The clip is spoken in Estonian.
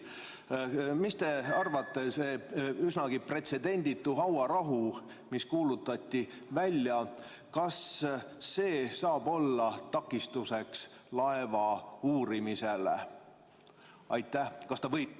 Mis te arvate, kas see üsnagi pretsedenditu hauarahu, mis välja kuulutati, saab olla takistuseks laeva uurimisele?